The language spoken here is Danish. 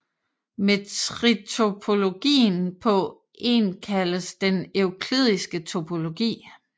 Metriktopologien på En kaldes den euklidiske topologi